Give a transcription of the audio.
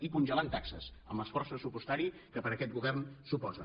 i congelant taxes amb l’esforç pressupostari que per aquest govern suposa